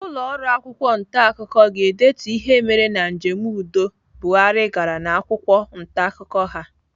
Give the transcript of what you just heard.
Ụlọọrụ akwụkwọ ntaakụkọ ga-edetu ihe mere na njem udo Buhari gara n'akwụkwọ ntaakụkọ ha.